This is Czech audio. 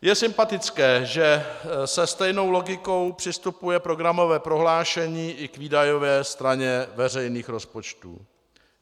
Je sympatické, že se stejnou logikou přistupuje programové prohlášení i k výdajové straně veřejných rozpočtů.